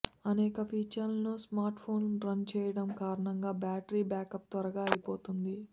అనేక ఫీచర్లను smartphone run చెయ్యటం కారణంగా బ్యాటరీ బ్యాకప్ త్వరగా అయిపోతుంటుంది